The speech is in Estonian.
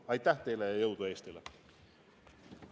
Aitäh teile ja jõudu Eestile!